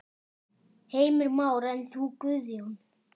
Heimir Már: En þú Guðjón?